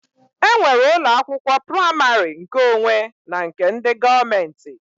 E nwere ụlọ akwụkwọ praimarị nkeonwe na nke ndị gọọmenti